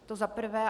To za prvé.